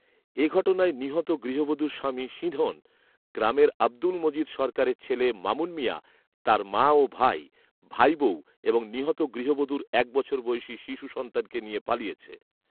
এঘটনায় নিহত গৃহবধূর স্বামী সিধঁন গ্রামের আব্দুল মজিদ সরকারের ছেলে মামুন মিয়া, তার মা ও ভাই, ভাই বউ এবং নিহত গৃহবধূর এক বছর বয়সি শিশু সন্তানকে নিয়ে পালিয়েছে